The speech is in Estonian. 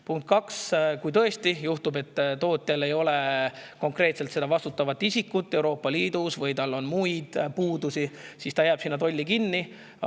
Punkt kaks, kui tõesti juhtub, et toote ei ole konkreetset vastutavat isikut Euroopa Liidus või on muid puudusi, siis jääb see tolli kinni.